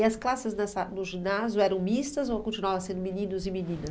E as classes dessa no ginásio eram mistas ou continuavam sendo meninos e menina?